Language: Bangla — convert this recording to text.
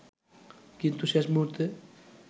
কিন্তু শেষ মূহুর্তে